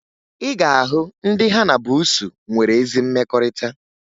Ị ga-ahụ ndị ha na buusu nwere ezi mmekọrịta